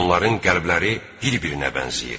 Onların qəlbləri bir-birinə bənzəyir.